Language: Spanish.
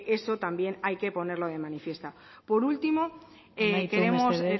eso también hay que ponerlo de manifiesto amaitu mesedez